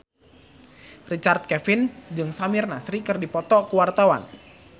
Richard Kevin jeung Samir Nasri keur dipoto ku wartawan